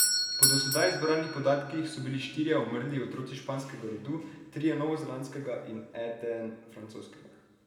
Po do sedaj zbranih podatkih so bili štirje umrli otroci španskega rodu, trije novozelandskega in eden francoskega.